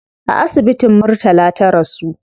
A asibitin murtala ta rasu